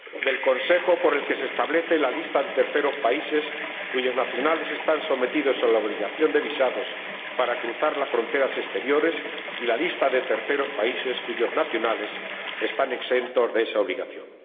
del Consejo, por el que se establece la lista de terceros países cuyos nacionales están sometidos a la obligación de visado para cruzar las fronteras exteriores y la lista de terceros países cuyos nacionales están exentos de esa obligación.